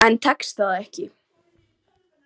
En tekst það ekki.